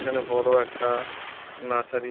এখানে বড় একটা নাচারি --